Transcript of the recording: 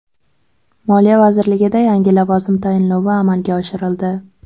Moliya vazirligida yangi lavozim tayinlovi amalga oshirildi.